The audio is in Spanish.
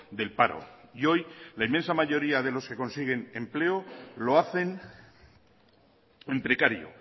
del paro y hoy la inmensa mayoría de los que consiguen empleo lo hacen en precario